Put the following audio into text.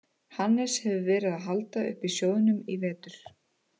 Hannes hefur verið að halda uppi sjóðnum í vetur.